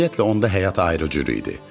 Ümumiyyətlə onda həyat ayrı cür idi.